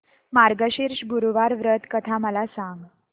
मार्गशीर्ष गुरुवार व्रत कथा मला सांग